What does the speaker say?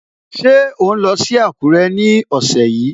Ṣé ò ń lọ sí Àkúrẹ́ ní ọ̀sẹ̀ yìí?